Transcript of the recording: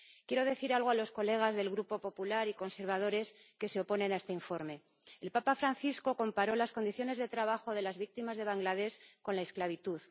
Quiero decir algo a los diputados del Grupo popular y conservadores que se oponen a este informe el Papa Francisco comparó las condiciones de trabajo de las víctimas de Bangladés con la esclavitud.